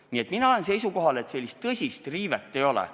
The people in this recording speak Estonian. Nii et mina olen seisukohal, et tõsist riivet ei ole.